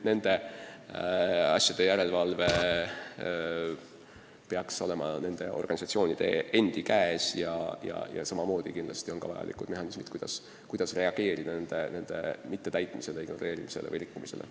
Nende asjade järelevalve peaks olema nende organisatsioonide endi käes, aga samamoodi on sealgi vajalikud mehhanismid, mida kasutades reageerida nende ignoreerimisele või rikkumisele.